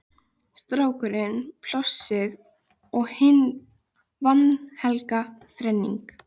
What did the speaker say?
Strákurinn, Plássið og hin vanhelga þrenning